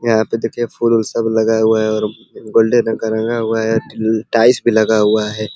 यहाँ पे देखिए फूल ऊल सब लगा हुआ है और गोल्डन रंग का रंगा हुआ है। टाइल्स भी लगा हुआ है।